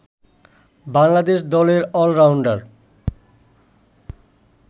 বাংলাদেশ দলের অলরাউন্ডার